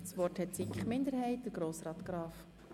Für die Kommissionsminderheit spricht Grossrat Graf.